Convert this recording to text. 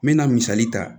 N mɛna misali ta